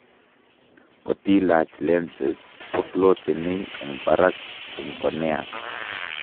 Kotilach lenses kofloteni eng' barak eng' corneas